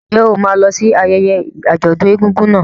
Ǹjẹ́ o máa lọ sí ayẹyẹ àjọ̀dún egúngún náà?